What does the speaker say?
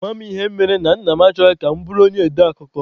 Amaghị m ịhe mere na Nna m achọghị ka m bụrụ onye ode akụkọ.